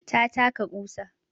Ta taka ƙusa